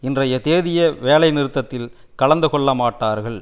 இன்றைய தேதிய வேலை நிறுத்தத்தில் கலந்து கொள்ளமாட்டார்கள்